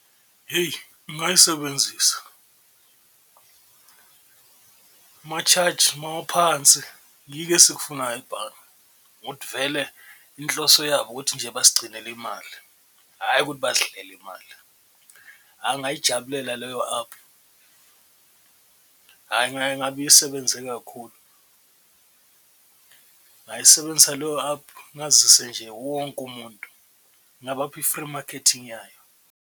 Hheyi ngayisebenzisa ma-charge mawaphansi yiko esikufunayo ebhange ukuthi vele inhloso yabo ukuthi nje basigcinile imali, hhayi ukuthi basidlele imali, ngayijabulela leyo aphu, hhayi ngabe isebenze kakhulu. Ngayisebenzisa leyo aphu ngazise nje wonke umuntu ngabapha i-free marketing yayo.